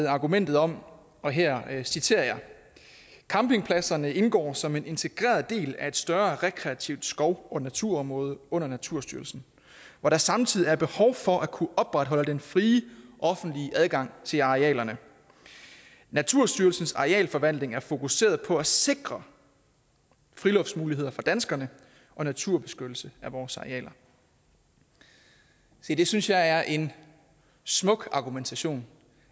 argumentet om og her citerer jeg campingpladserne indgår alle som en integreret del af et større rekreativt skov og naturområde under naturstyrelsen hvor der samtidig er behov for at kunne opretholde den frie offentlige adgang til arealerne naturstyrelsens arealforvaltninger er fokuseret på at sikre friluftsmuligheder for danskerne og naturbeskyttelse af vores arealer se det synes jeg er en smuk argumentation